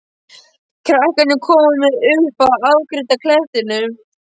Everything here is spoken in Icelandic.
Krakkarnir koma með upp að afgirta klettinum.